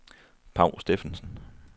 Paw Steffensen